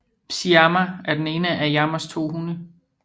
Syama er den ene af Yamas to hunde